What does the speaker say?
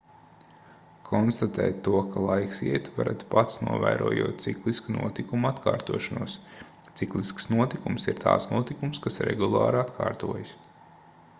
konstatēt to ka laiks iet varat pats novērojot ciklisku notikumu atkārtošanos ciklisks notikums ir tāds notikums kas regulāri atkārtojas